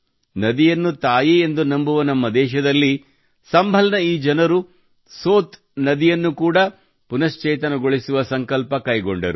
ನದಿಯನ್ನು ತಾಯಿಯೆಂದು ನಂಬುವ ನಮ್ಮ ದೇಶದಲ್ಲಿ ಸಂಭಲ್ ನ ಜನರು ಈ ಸೋತ್ ನದಿಯನ್ನು ಕೂಡಾ ಪುನಶ್ಚೇತನಗೊಳಿಸುವ ಸಂಕಲ್ಪ ಕೈಗೊಂಡರು